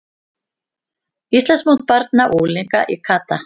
Íslandsmót barna og unglinga í kata